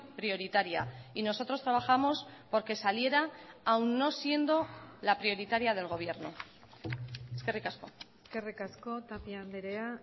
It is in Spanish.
prioritaria y nosotros trabajamos porque saliera aun no siendo la prioritaria del gobierno eskerrik asko eskerrik asko tapia andrea